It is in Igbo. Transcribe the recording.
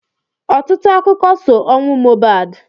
Ọtụtụ akụkọ so ọnwụ Mohbad.